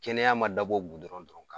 Kɛnɛya ma dabɔ dɔrɔn ka